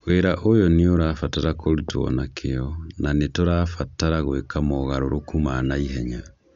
Wĩra ũyũ nĩ ũrabatara kũrutwo na kĩyĩ, na nĩ tũkũbatara gwĩka mogarũrũku ma na ihenya